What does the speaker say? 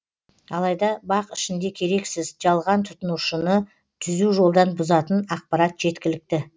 алайда бақ ішінде керексіз жалған тұтынушыны түзу жолдан бұзатын ақпарат жеткілікті